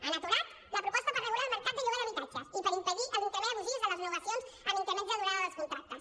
han aturat la proposta per regular el mercat de lloguer d’habitatges i per impedir els increments abusius de les renovacions amb increment de durada dels contractes